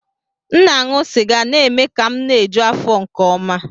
M na-aṅụ sịga na-eme ka m na-eju afọ nke ọma